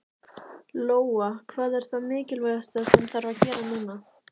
Lóa: Hvað er það mikilvægasta sem þarf að gera núna?